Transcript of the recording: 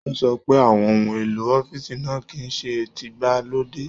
O sọ pé àwọn ohun èlò ọ̀fiísí náà kìí ṣe tígbàlódé.